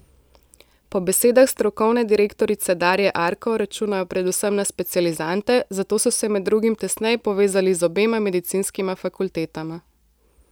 Po besedah strokovne direktorice Darje Arko računajo predvsem na specializante, zato so se med drugim tesneje povezali z obema medicinskima fakultetama.